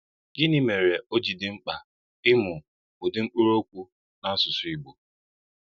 Gịnị́ mére ọ́ jì dị́ mkpà ìmụ́ ùdị̀ mkpụrụ́okwu n’ásụsụ́ Ìgbò?